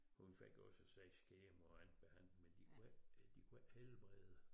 Hun fik også 6 kemo og andet behandling men de kune ikke de kunne ikke helbrede